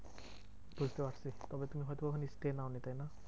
বুঝতে পারছি তবে তুমি হয়তো ওখানে stay নাওনি তাইনা?